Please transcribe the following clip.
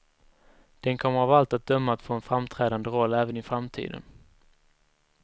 Den kommer av allt att döma att få en framträdande roll även i framtiden.